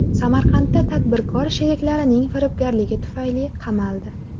Samarqandda tadbirkor sheriklarining firibgarligi tufayli qamaldi.